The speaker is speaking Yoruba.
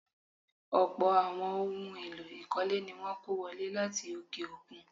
Ọlpọ̀ àwọn ohun-èèlò ìkọ́lé ní wọ́n kó wọlé láti òkè-òkun.